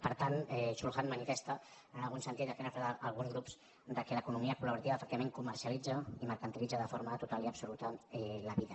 per tant chul han manifesta en algun sentit el que han expressat alguns grups que l’economia colefectivament comercialitza i mercantilitza de forma total i absoluta la vida